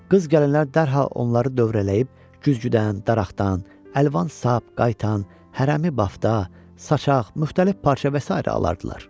Qız-gəlinlər dərhal onları dövrələyib güzgüdən, daraqdan, əlvan sap, qaytan, hərəmi bafta, saçaq, müxtəlif parça və sairə alardılar.